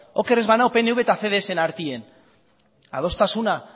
oker ez banago pnv eta cdsren artean adostasuna